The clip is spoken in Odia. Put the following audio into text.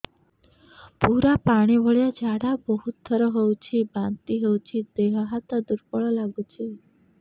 ପୁରା ପାଣି ଭଳିଆ ଝାଡା ବହୁତ ଥର ହଉଛି ବାନ୍ତି ହଉଚି ଦେହ ହାତ ଦୁର୍ବଳ ଲାଗୁଚି